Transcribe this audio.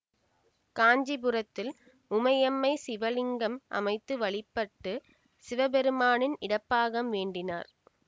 காஞ்சிபுரத்தில் உமையம்மை சிவலிங்கம் அமைத்து வழிபட்டு சிவபெருமானின் இடப்பாகம் வேண்டினார்